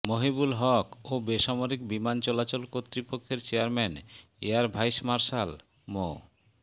মহিবুল হক ও বেসামরিক বিমান চলাচল কর্তৃপক্ষের চেয়ারম্যান এয়ার ভাইস মার্শাল মো